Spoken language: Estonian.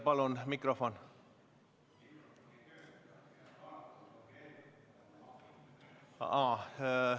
Palun!